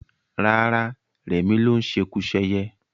Rárá, rẹmi ló ń ṣekuṣẹyẹ